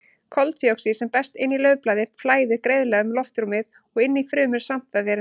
Koltvíoxíð sem berst inn í laufblaði flæðir greiðlega um loftrúmið og inn í frumur svampvefjarins.